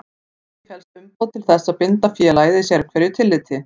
Í því felst umboð til þess að binda félagið í sérhverju tilliti.